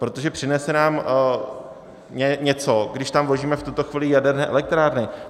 Protože přinese nám něco, když tam vložíme v tuto chvíli jaderné elektrárny?